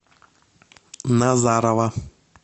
назарово